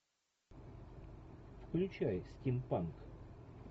включай стим панк